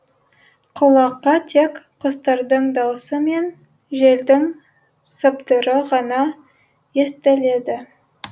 құлаққа тек құстардың даусы мен желдің сыбдыры ғана естіледі